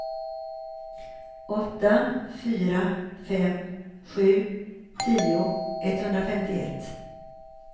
åtta fyra fem sju tio etthundrafemtioett